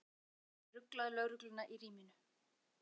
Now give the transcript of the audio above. Óþarfa fingraför gátu ruglað lögregluna í ríminu.